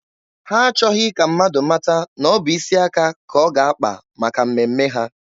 Ha achọghị ka mmadụ mata na ọ bụ isi aka ka ọ ga-akpa maka mmemme ha.